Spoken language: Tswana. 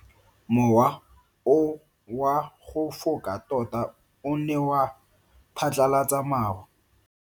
Mowa o wa go foka tota o ne wa phatlalatsa maru.